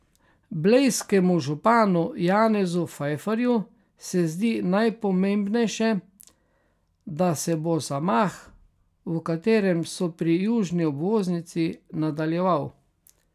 Blejskemu županu Janezu Fajfarju se zdi najpomembnejše, da se bo zamah, v katerem so pri južni obvoznici, nadaljeval.